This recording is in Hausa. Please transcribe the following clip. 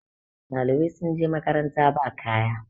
ɗalibai sun je makaranta ba kaya